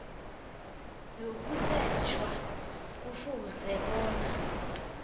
yokusetjha kufuze bona